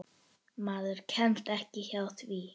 Maður kemst ekki hjá því.